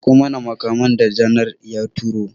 Miƙo mana makaman da janar ya turo!